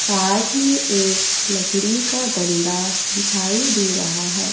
साथ ही एक लकड़ी का डंडा दिखाई दे रहा है।